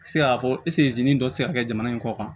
Se ka fɔ dɔ tɛ se ka kɛ jamana in kɔ kan